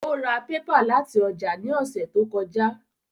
Ó ra pépà láti ọjà ní ọ̀sẹ̀ tó kọjá